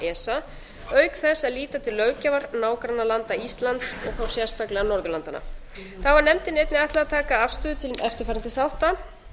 esa auk þess að líta til löggjafar nágrannalanda íslands sérstaklega norðurlandanna þá var nefndinni einnig ætlað að taka afstöðu til eftirfarandi þátta